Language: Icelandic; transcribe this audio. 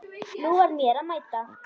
Nú var mér að mæta!